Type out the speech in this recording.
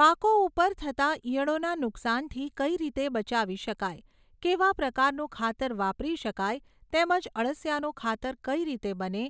પાકો ઉપર થતા ઈયળોના નુકસાનથી કઈ રીતે બચાવી શકાય, કેવા પ્રકારનું ખાતર વાપરી શકાય તેમ જ અળસિયાનું ખાતર કઈ રીતે બને